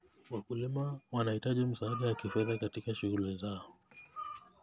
Wakulima wanahitaji msaada wa kifedha katika shughuli zao.